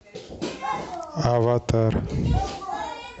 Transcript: аватар